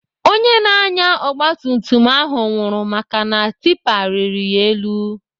Onye na-anya ogbatumtum ahụ nwụrụ maka na tipa riri ya elu.